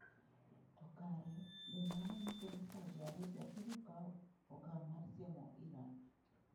To kare, be mano nyiso ni Saudi Arabia biro kawo okang ' mar siemo Iran?